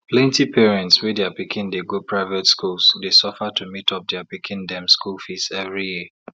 plenty parents wey dia pikin dey go private schools dey suffer to meet up dia pikin dem school fees every year